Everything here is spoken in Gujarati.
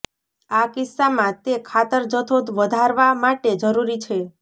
આ કિસ્સામાં તે ખાતર જથ્થો વધારવા માટે જરૂરી છે